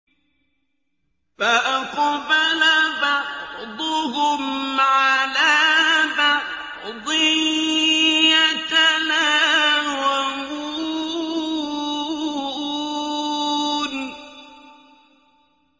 فَأَقْبَلَ بَعْضُهُمْ عَلَىٰ بَعْضٍ يَتَلَاوَمُونَ